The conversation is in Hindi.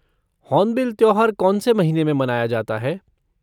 होर्नबिल त्योहार कौन से महीने में मनाया जाता है?